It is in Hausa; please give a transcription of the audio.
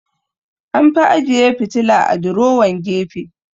An fi ajeyi fitila a durowan gefe